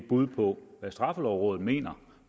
bud på hvad straffelovrådet mener